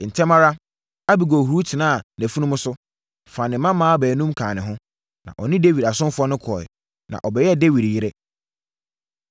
Ntɛm ara, Abigail huri tenaa nʼafunumu so, faa ne mmaawa baanum kaa ne ho, na ɔne Dawid asomfoɔ no kɔeɛ, na ɔbɛyɛɛ Dawid yere.